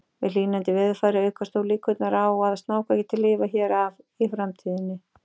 Með hlýnandi veðurfari aukast þó líkurnar á að snákar geti lifað hér af í framtíðinni.